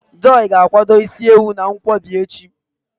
Joy ga-akwadebe isi ewu na nkwobi echi